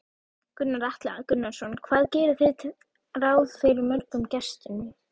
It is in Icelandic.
Gunnar Atli Gunnarsson: Hvað gerið þið ráð fyrir mörgum gestum?